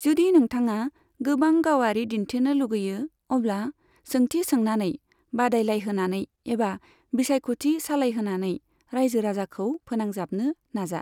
जुदि नोंथाङा गोबां गावारि दिन्थिनो लुगैयो, अब्ला सोंथि सोंनानै, बादायलायहोनानै एबा बिसायख'थि सालायहोनानै रायजो राजाखौ फोनांजाबनो नाजा।